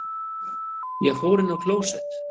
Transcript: Ég fór inn á klósett.